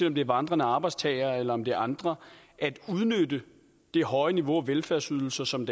om det er vandrende arbejdstagere eller om det er andre at udnytte det høje niveau af velfærdsydelser som